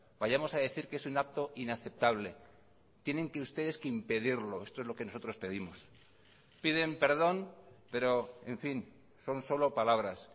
vayamos a decir que es un acto inaceptable tienen que ustedes que impedirlo esto es lo que nosotros pedimos piden perdón pero en fin son solo palabras